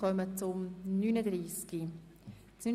Wir kommen nun zum Traktandum 39.